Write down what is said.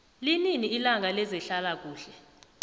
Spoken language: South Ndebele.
linini ilanga lezehlala kuhle